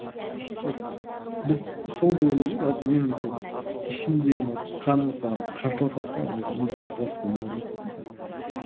біз сол деп ойлаймын да жалпы менің сол ішімдегі может қаным соған қарсыласады да мұндай арпалыс болмау керек қой деген сияқты